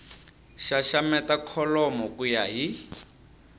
xaxameta kholomo ku ya hi